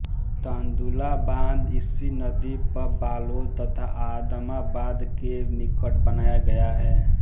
तांदुला बांध इसी नदी पर बालोद तथा आदमाबाद के निकट बनाया गया है